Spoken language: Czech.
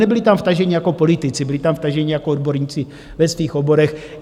Nebyli tam vtaženi jako politici, byli tam vtaženi jako odborníci ve svých oborech.